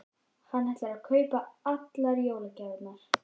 Hann ætlar að kaupa allar jólagjafirnar.